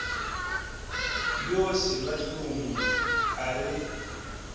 yo selwa hlong a re